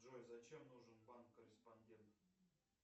джой зачем нужен банк корреспондент